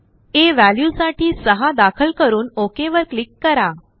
aव्ह्याल्यूसाठी6दाखल करून ओक वर करा